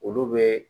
Olu bɛ